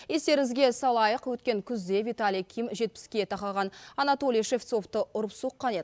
естеріңізге салайық өткен күзде виталий ким жетпіске тақаған анатолий шевцовты ұрып соққан еді